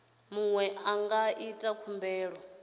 muṅwe a nga ita khumbelo